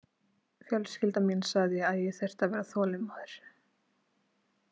Fjölskylda mín sagði að ég þyrfti að vera þolinmóður.